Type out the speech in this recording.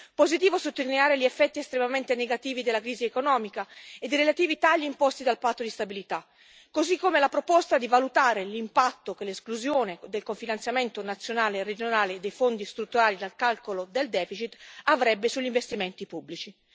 Positivo è sottolineare gli effetti estremamente negativi della crisi economica ed i relativi tagli imposti dal patto di stabilità, così come la proposta di valutare l'impatto che l'esclusione del cofinanziamento nazionale e regionale dei fondi strutturali dal calcolo del deficit avrebbe sugli investimenti pubblici.